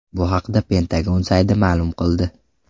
Bu haqda Pentagon sayti ma’lum qildi .